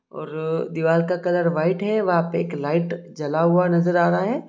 और दीवार का कलर वाइट है वहा पर एक लाइट जला हुआ नजर आ रहा है।